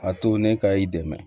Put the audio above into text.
A to ne ka i dɛmɛ